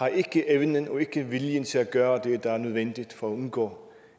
viljen til at gøre det der er nødvendigt for at undgå